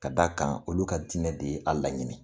Ka d'a kan olu ka dinɛ de ye a laɲini.